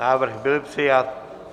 Návrh byl přijat.